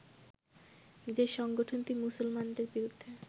যে সংগঠনটি মুসলমানদের বিরুদ্ধে